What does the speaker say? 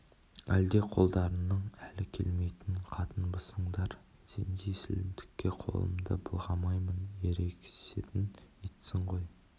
әлде қолдарының әлі келмейтін қатынбысыңдар сендей сілімтікке қолымды былғамаймын ерегесетін итсің ғой